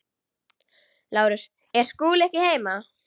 LÁRUS: Er Skúli ekki heima?